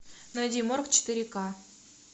найди морг четыре ка